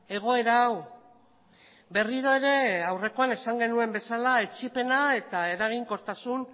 egoera hau berriro ere aurrekoan esan genuen bezala etsipena eta eraginkortasun